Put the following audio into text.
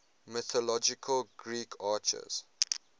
mythological greek archers